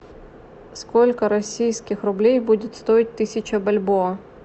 сколько российских рублей будет стоить тысяча бальбоа